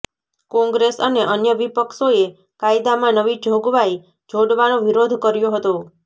કોંગ્રેસ અને અન્ય વિપક્ષોએ કાયદામાં નવી જોગવાઈ જોડવાનો વિરોધ કર્યો હતો